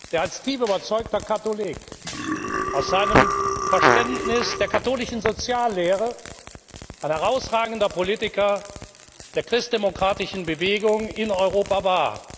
der als tief überzeugter Katholik aus seinem Verständnis der katholischen Soziallehre ein herausragender Politiker der christdemokratischen Bewegung in Europa war.